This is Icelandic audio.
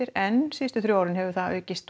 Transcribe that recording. en síðustu þrjú ár hefur það aukist